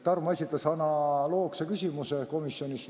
Tarmo esitas komisjonis analoogse küsimuse.